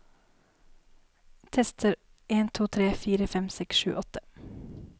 Tester en to tre fire fem seks sju åtte